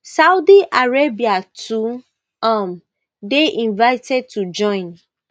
saudi arabia too um dey invited to join